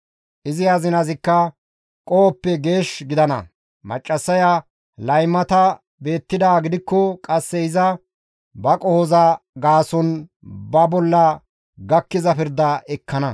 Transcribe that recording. Izi azinazikka qohoppe geesh gidana; maccassaya laymata beettidaa gidikko qasse iza ba qohoza gaason ba bolla gakkiza pirda ekkana.»